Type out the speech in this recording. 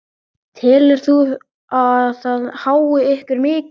Telur þú að það hái ykkur mikið?